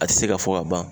A tɛ se ka fɔ ka ban